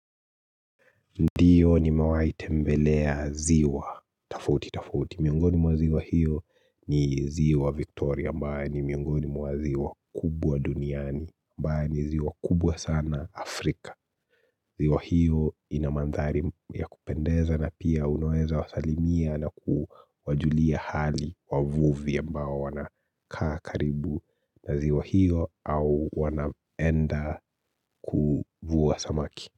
Ndiyo nimewahi tembelea ziwa tofauti tofauti. Miongoni mwa ziwa hiyo ni ziwa Victoria ambaye ni miongoni mwa ziwa kubwa duniani ambaye ni ziwa kubwa sana Afrika. Ziwa hiyo ina mandhari ya kupendeza na pia unoeza wasalimia na kuwajulia hali wavuvia ambao wanakaa karibu na ziwa hiyo au wanaenda kuvuwa samaki.